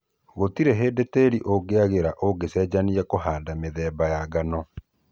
Gũtirĩ hĩndĩ tĩri ũngĩagĩra ũngĩchenjania kũhanda mĩthemba ya ngano